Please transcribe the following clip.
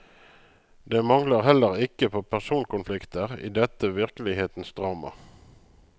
Det mangler heller ikke på personkonflikter i dette virkelighetens drama.